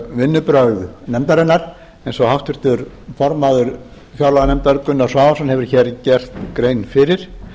vinnubrögð nefndarinnar eins og háttvirtur formaður fjárlaganefndar gunnar svavarsson hefur gert grein fyrir